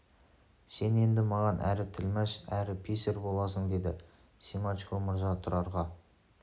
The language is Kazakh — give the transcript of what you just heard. сен енді маған әрі тілмаш әрі писарь боласың деді семашко мырза тұрарға